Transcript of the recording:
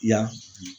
Ya